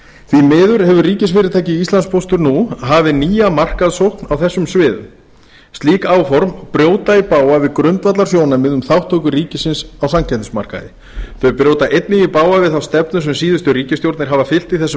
því miður hefur ríkisfyrirtækið íslandspóstur nú hafið nýja markaðssókn á þessum sviðum slík áform brjóta í bága við grundvallarsjónarmið um þátttöku ríkisins á samkeppnismarkaði þau brjóta einnig í bága við þá stefnu sem síðustu ríkisstjórnir hafa fylgt í þessum